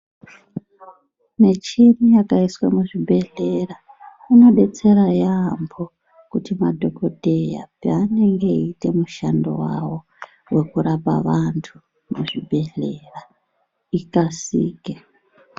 Michini yakaiswa muzvibhehleya inodetsera yaaamho. Kuti madhokodheya paanoita mushando wawo wekurapa vantu muzvibhehleya ikasike